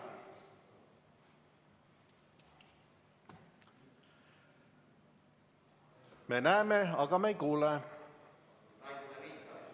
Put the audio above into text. Me näeme, aga me ei kuule.